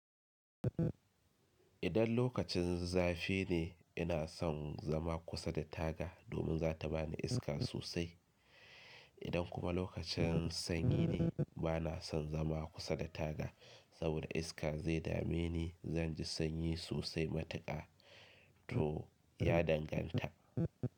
Idan lokacin zafi ne, ina son zama kusa da taga domin za ta bani iska sosai. Idan kuma lokacin sanyi ne, ba na son zama kusa da taga saboda iska zai dame ni, zan ji sanyi sosai matuƙa. To ya danganta.